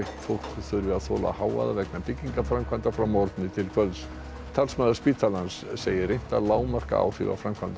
fólk þurfi að þola hávaða vegna byggingaframkvæmda frá morgni til kvölds talsmaður spítalans segir reynt að lágmarka áhrif af framkvæmdunum